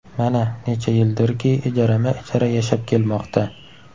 Mana, necha yildirki ijarama-ijara yashab kelmoqda.